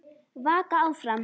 Vaka áfram.